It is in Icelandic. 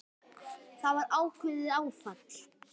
Það var ákveðið áfall.